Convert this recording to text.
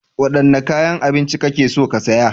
Wadanne kayan abinci kake so ka saya?